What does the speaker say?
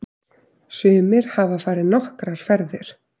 Sumir hafa farið nokkrar ferðir.